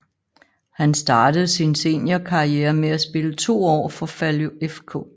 Han startede sin seniorkarriere med at spille to år for Falu FK